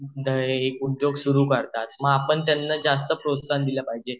उद्योग सुरु करतात मग आपण त्यांना जास्त प्रोत्साहन दिला पाहिजेल